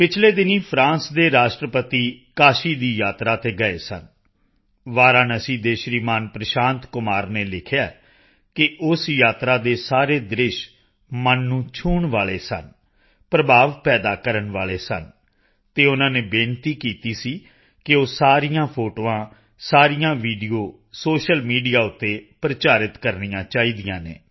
ਪਿਛਲੇ ਦਿਨੀਂ ਫਰਾਂਸ ਦੇ ਰਾਸ਼ਟਰਪਤੀ ਕਾਸ਼ੀ ਦੀ ਯਾਤਰਾ ਤੇ ਗਏ ਸਨ ਵਾਰਾਣਸੀ ਦੇ ਸ਼੍ਰੀਮਾਨ ਪ੍ਰਸ਼ਾਂਤ ਕੁਮਾਰ ਨੇ ਲਿਖਿਆ ਹੈ ਕਿ ਉਸ ਯਾਤਰਾ ਦੇ ਸਾਰੇ ਦ੍ਰਿਸ਼ ਮਨ ਨੂੰ ਛੂਹਣ ਵਾਲੇ ਸਨ ਪ੍ਰਭਾਵ ਪੈਦਾ ਕਰਨ ਵਾਲੇ ਸਨ ਅਤੇ ਉਨ੍ਹਾਂ ਨੇ ਬੇਨਤੀ ਕੀਤੀ ਸੀ ਕਿ ਉਹ ਸਾਰੀਆਂ ਫੋਟੋਆਂ ਸਾਰੀਆਂ ਵੀਡੀਓ ਸ਼ੋਸ਼ਲ ਮੀਡੀਆ ਤੇ ਪ੍ਰਚਾਰਿਤ ਕਰਨੀਆਂ ਚਾਹੀਦੀਆਂ ਹਨ